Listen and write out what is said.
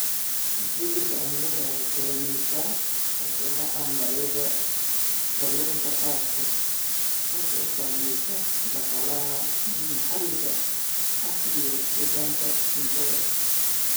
Isbeddelka cimilada ayaa keenaya hoos u dhaca noocyada kalluunka qaarkood, kaas oo saameeya dhaqaalaha maxalliga ah iyo sugnaanta cuntada.